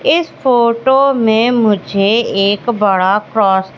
इस फोटो में मुझे एक बड़ा क्रॉस --